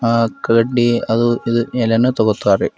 ಆ ಕಡ್ಡಿ ಅದು ಇದು ಏನೇನೋ ತಗೋತಾರೆ.